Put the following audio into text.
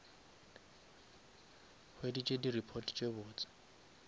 hweditse di report tse botse